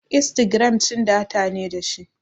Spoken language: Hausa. Instagiram cin data ne dashi